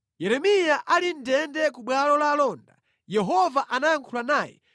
Yeremiya ali mʼndende ku bwalo la alonda, Yehova anayankhula naye: